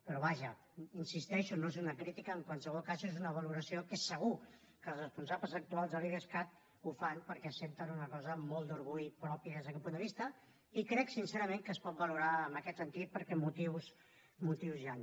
però vaja hi insisteixo no és una crítica en qualsevol cas és una valoració que segur que els responsables actuals de l’idescat ho fan perquè senten una cosa amb molt d’orgull pròpia des d’aquest punt de vista i crec sincerament que es pot valorar en aquest sentit perquè motius n’hi han